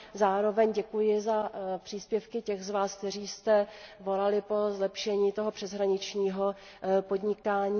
Zároveň děkuji za příspěvky těch z vás, kteří jste volali po zlepšení přeshraničního podnikání.